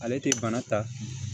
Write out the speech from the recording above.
Ale tɛ bana ta